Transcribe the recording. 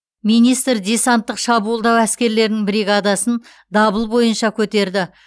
министр десанттық шабуылдау әскерлерінің бригадасын дабыл бойынша көтерді